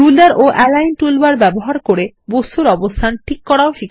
ruler ও align toolbar ব্যবহার করে বস্তুর অবস্থান ঠিক করা